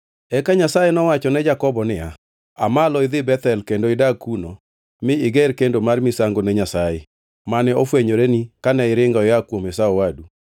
Eka Nyasaye nowacho ne Jakobo niya, “Aa malo idhi Bethel kendo idag kuno mi iger kendo mar misango ne Nyasaye, mane ofwenyoreni kane iringo ia kuom Esau owadu.”